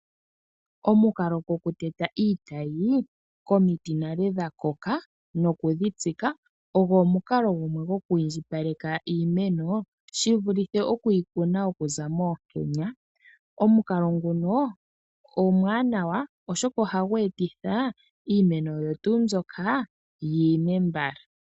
Omukalo goku teta iitayi komiti ndhono dhakoka nale oku dhitsika ogo omukalo gokwiindjipaleka iimeno shivulithe oku yi kuna okuza moonkenya. Omukalo nguno omwaanawa oshoka ohagu etitha iimeno oyo tuu mbyoka yiime mbala.